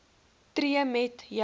tree met jou